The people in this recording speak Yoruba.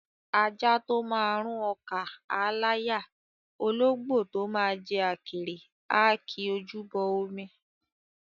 Ajá tó máa rún ọkà á láyà; ológbò tó máa jẹ àkèré á ki ojú bọ omi.